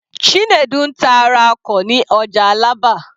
Chinedu ń ta ara ọkọ̀ ní ọjà Alaba.